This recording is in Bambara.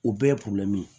O bɛɛ ye ye